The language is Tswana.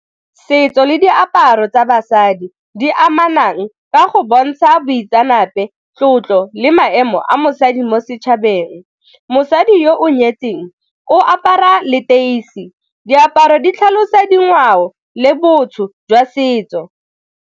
Setso le diaparo tsa basadi di amanang ka go bontsha boitseanape, tlotlo le maemo a mosadi mo setšhabeng. Mosadi yo o nyetseng o apara leteisi, diaparo di tlhalosa dingwao le botho jwa setso.